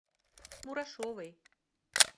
мурашовой